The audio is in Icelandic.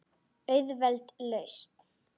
Auðveld lausn.